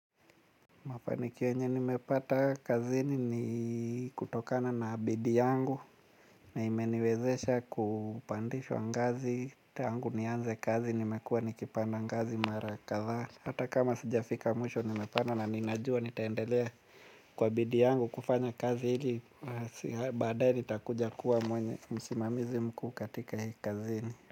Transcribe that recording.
Mafanikio yenye nimepata kazini ni kutokana na bidii yangu na imeniwezesha kupandishwa ngazi tangu nianze kazi nimekuwa nikipanda ngazi mara kadhaa. Hata kama sijafika mwisho nimepanda na ninajua nitaendelea kwa bidii yangu kufanya kazi hili baadaye nitakuja kuwa mwenye msimamizi mkuu katika hii kazini.